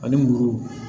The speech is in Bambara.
Ani muru